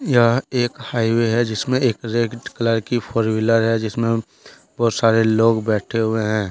यह एक हाइवे है जिसमें एक रेड कलर की फोर वीलर है। जिसमें बहुत सारे लोग बैठे हुए हैं ।